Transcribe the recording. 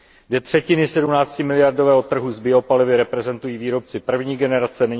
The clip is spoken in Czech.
Dvě třetiny 17miliardového trhu s biopalivy reprezentují výrobci první generace.